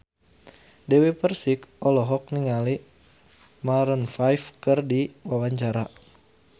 Dewi Persik olohok ningali Maroon 5 keur diwawancara